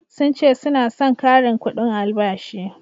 sun ce suna San karin kudin albashi